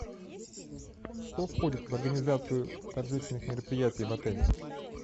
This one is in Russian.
что входит в организацию торжественных мероприятий в отеле